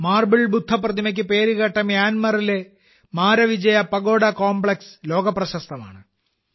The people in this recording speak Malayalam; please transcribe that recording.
മാർബിൾ ബുദ്ധ പ്രതിമയ്ക്ക് പേരുകേട്ട മ്യാൻമറിലെ മാരവിജയ പഗോഡ കോംപ്ലക്സ് ലോകപ്രശസ്തമാണ്